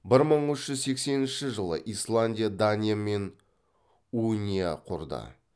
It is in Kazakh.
бір мың үш жүз сексенінші жылы исландия даниямен уния құрды